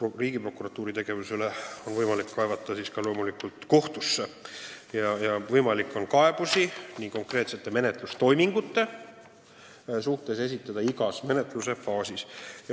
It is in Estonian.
Riigiprokuratuuri tegevuse peale on loomulikult võimalik kaevata ka kohtusse, seejuures saab kaebuse konkreetsete menetlustoimingute kohta esitada igas menetlusfaasis.